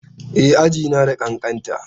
E, aji na da ƙanƙanta.